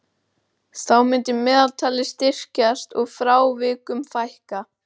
Þá myndi meðaltalið styrkjast og frávikum fækka.